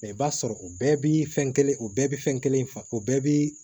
i b'a sɔrɔ o bɛɛ bi fɛn kelen o bɛɛ bi fɛn kelen fa o bɛɛ bi